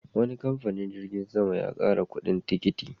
Wani kamfanin jirgin sama ya ƙara kuɗin tikiti.